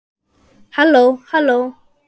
HALLÓ, HALLÓ.